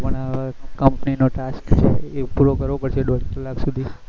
પણ company નો task છે એ પૂરો કરવો પડશે દોડ કલાક સુધી